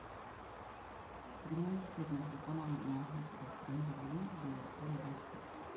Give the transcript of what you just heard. прямой эфир между командами английской премьер лиги ливерпуль лестер